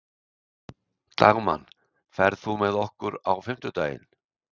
Dagmann, ferð þú með okkur á fimmtudaginn?